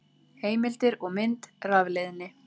Heimildir og mynd Rafleiðni.